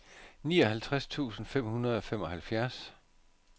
nioghalvtreds tusind fem hundrede og femoghalvtreds